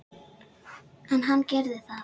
En hann gerir það ekki.